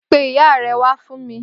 Pé ìyá rè wà fún mi